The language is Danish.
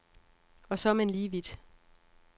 Og så er man lige vidt.